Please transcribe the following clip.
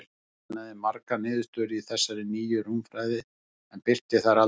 Hann sannaði margar niðurstöður í þessari nýju rúmfræði, en birti þær aldrei.